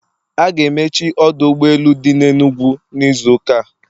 A ga-emechi ọdụ ụgbọ elu dị n'Enugwu n'izu ụka a